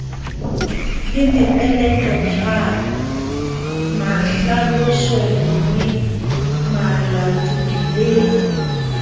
le mepeletotshwano mahlalosonngwe malatodi le